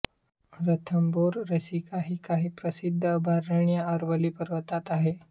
रणथंभोर सारिस्का ही काही प्रसिद्ध अभयारण्य अरवली पर्वतात आहेत